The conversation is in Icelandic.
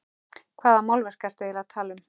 Hvaða málverk ertu eiginlega að tala um?